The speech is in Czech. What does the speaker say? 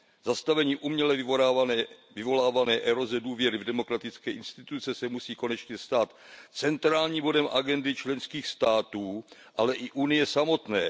Zastavení uměle vyvolávané eroze důvěry v demokratické instituce se musí konečně stát centrálním bodem agendy členských států, ale i Evropské unie samotné.